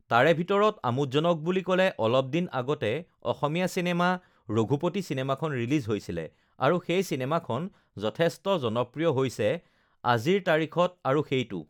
তাৰে ভিতৰত আমোদজনক বুলি ক'লে অলপদিন আগতে ugh অসমীয়া চিনেমা ৰঘুপতি চিনেমাখন ৰিলিজ হৈছিলে ugh আৰু সেই চিনেমাখন যথেষ্ট জনপ্ৰিয় হৈছে আজিৰ তাৰিখত ugh আৰু সেইটো